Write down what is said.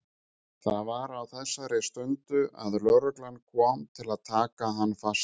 Það var á þessari stundu að lögreglan kom til að taka hann fastan.